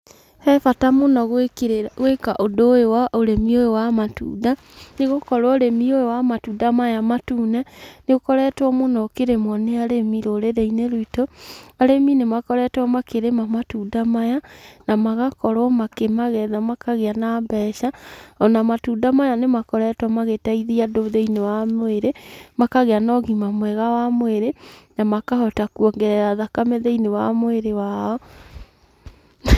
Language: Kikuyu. He bata mũno gũĩka ũndũ ũyũ wa ũrĩmi ũyũ wa matunda, nĩgukorwo ũrĩmi ũyũ matunda maya matune, nĩ ũkoretwo mũno ũkĩrĩmwo nĩ arĩmi rũrĩrĩ-inĩ ruitũ. Arĩmĩ nĩ makoretwo makĩrĩma matunda maya na magakorwo makĩmagetha makagĩa na mbeca. Ona matunda maya nĩmakoretwo magĩteithia thĩinĩ wa mwĩrĩ, makagĩa na ũgima mwega wa mwĩrĩ, na makahota kwongerera thakame thiinĩ wa mwĩrĩ wao.